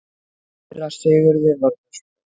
Síra Sigurði var misboðið.